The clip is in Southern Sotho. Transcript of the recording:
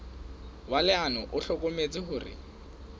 wa leano o hlokometse hore